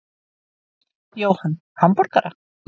Jóhann: Hamborgara?